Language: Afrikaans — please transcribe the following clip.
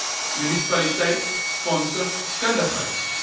munisipaliteit fondse kundigheid